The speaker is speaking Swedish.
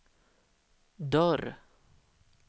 dörr